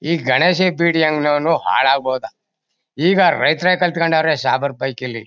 ಈ ಗಣೇಶ್ ಬೀಡಿ ಅಂಗಡಿಯವನು ಹಾಳೋಗ್ ಹೋದ ಈಗ ರೈತರೆ ಕಲ್ಕೊಂಡವರೆ ಸಾಬ್ರೆ ಪಯ್ಕಿ ಇಲ್ಲಿ.